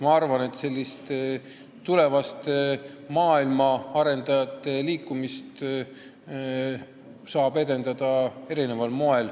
Ma arvan, et sellist tulevaste maailma arendajate liikumist saab edendada erineval moel.